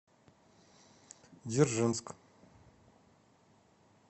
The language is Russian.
дзержинск